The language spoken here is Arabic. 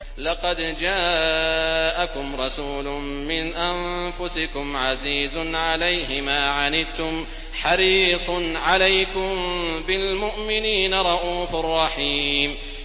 لَقَدْ جَاءَكُمْ رَسُولٌ مِّنْ أَنفُسِكُمْ عَزِيزٌ عَلَيْهِ مَا عَنِتُّمْ حَرِيصٌ عَلَيْكُم بِالْمُؤْمِنِينَ رَءُوفٌ رَّحِيمٌ